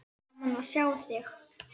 Gaman að sjá þig.